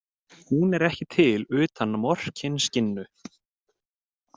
Hún er ekki til utan Morkinskinnu.